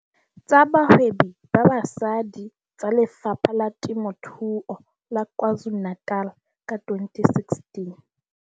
Tsa Bahwebi ba Basadi tsa Lefapha la Temothuo la KwaZulu-Natal ka 2016.